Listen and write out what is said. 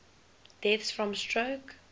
deaths from stroke